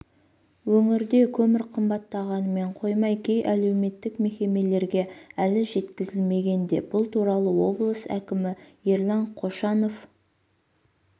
өңірде көмір қымбаттағанымен қоймай кей әлеуметтік мекемелерге әлі жеткізілмеген де бұл туралы облыс әкімі ерлан қошанов